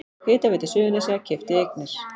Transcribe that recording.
Hitaveita Suðurnesja keypti eignir